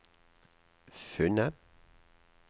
funnet